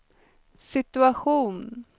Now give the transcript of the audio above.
situation